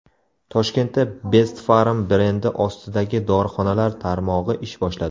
Toshkentda Best Pharm brendi ostidagi dorixonalar tarmog‘i ish boshladi.